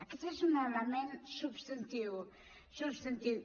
aquest és un element substantiu substantiu